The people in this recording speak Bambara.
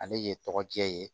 Ale ye tɔgɔ diya ye